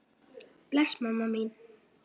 Bless mamma mín.